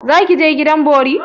Za ki je gidan bori?